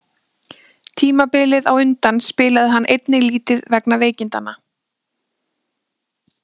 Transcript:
Tímabilið á undan spilaði hann einnig lítið vegna veikindanna.